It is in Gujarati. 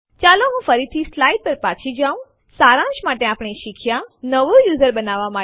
અન્ય ફાઈલ સેમ્પલ2 ટેક્સ્ટ સમાવે છે અને તે જોવા માટે આપણે લખીશું કેટ સેમ્પલ2 અને Enter દબાવો